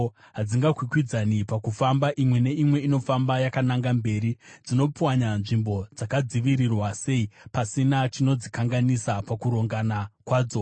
Hadzikwikwidzani pakufamba, imwe neimwe inofamba yakananga mberi. Dzinopwanya nzvimbo dzakadzivirirwa sei, pasina chinodzikanganisa pakurongana kwadzo.